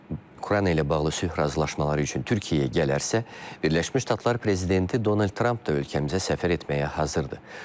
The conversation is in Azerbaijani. Ukrayna ilə bağlı sülh razılaşmaları üçün Türkiyəyə gələrsə, Birləşmiş Ştatlar prezidenti Donald Tramp da ölkəmizə səfər etməyə hazırdır.